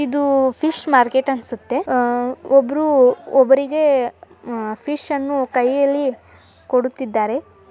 ಇದು fish market ಅನ್ಸುತ್ತೆ ಒಬ್ರು ಒಬ್ರಿಗೆ ಫಿಶ್ ಅನ್ನು ಕೈಯಲ್ಲಿ ಕೊಡುತ್ತಿದ್ದಾರೆ.